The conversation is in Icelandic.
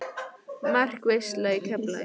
Markaveisla í Keflavík?